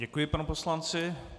Děkuji panu poslanci.